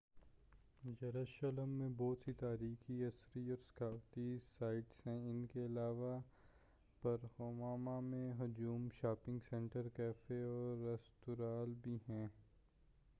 یروشلم میں بہت سی تاریخی اثری اور ثقافتی سائٹس ہیں ان کے علاوہ پُر ہمہمہ پُر ہجوم شاپنگ سنٹر کیفے اور رستوراں بھی ہیں